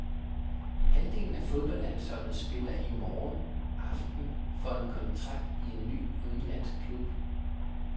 Halvdelen af fodboldlandsholdet spiller i morgen aften for en kontrakt i en ny udenlandsk klub.